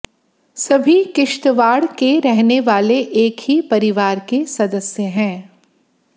सभी किश्तवाड़ के रहने वाले एक ही परिवार के सदस्य हैं